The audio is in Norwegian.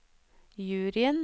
juryen